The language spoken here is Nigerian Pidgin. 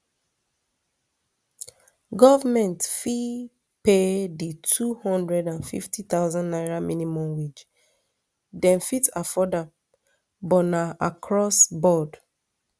goment fit pay di two hundred and fifty thousand naira minimum wage dem fit afford am but na across board